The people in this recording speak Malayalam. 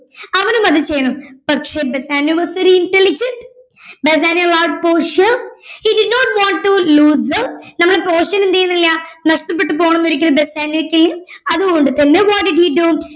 അവനും അത് ചെയ്യണം പക്ഷെ Bassanio was very intelligent Bassanio wants portia he did not want to lose ter നമ്മടെ പോർഷ്യനെ എന്ത് ചെയ്യുന്നില്ല നഷ്ടപെട്ടുപോണമെന്ന് ഒരിക്കലും ബെസാനിയോക്ക് അത് കൊണ്ട് തന്നെ what did he do